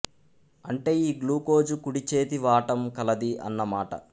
అంటే ఈ గ్లూకోజు కుడి చేతి వాటం కలది అన్న మాట